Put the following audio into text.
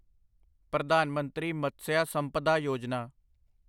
ਪ੍ਰਧਾਨ ਮੰਤਰੀ ਮਤਸਿਆ ਸੰਪਦਾ ਯੋਜਨਾ